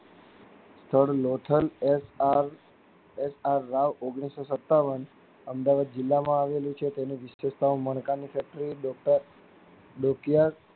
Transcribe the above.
સ્થળ Lothal S R S R Rao ઓગનીશો સત્તાવન અમદાવાદ જિલ્લા માં આવેલું છે તેની વિશિષ્ટતા મણકા ની છે.